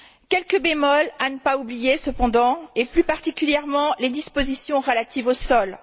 Quelques bémols à ne pas oublier cependant, et plus particulièrement les dispositions relatives aux sols.